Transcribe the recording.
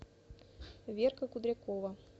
верка кудрякова